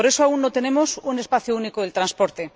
Por eso aún no tenemos un espacio único de transporte.